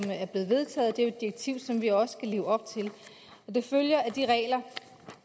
er blevet vedtaget det er jo et direktiv som vi også skal leve op til og det følger af de regler at